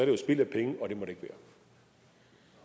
jo spild af penge